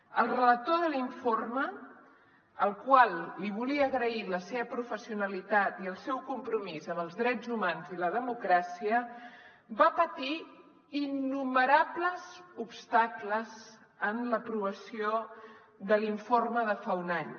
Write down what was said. el relator de l’informe al qual li volia agrair la seva professionalitat i el seu compromís amb els drets humans i la democràcia va patir innumerables obstacles en l’aprovació de l’informe de fa un any